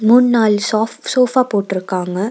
மூண் நாலு சாஃப் சோஃபா போட்ருக்காங்க.